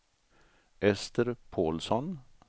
Ester Paulsson